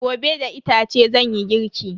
Gobe da itace zanyi girki.